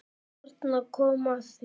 Þarna kom að því.